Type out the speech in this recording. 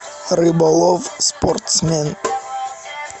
рыболов спортсмен